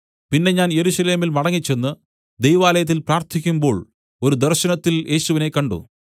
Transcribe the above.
പിന്നെ ഞാൻ യെരൂശലേമിൽ മടങ്ങിച്ചെന്ന് ദൈവാലയത്തിൽ പ്രാർത്ഥിക്കുമ്പോൾ ഒരു ദർശനത്തിൽ യേശുവിനെ കണ്ട്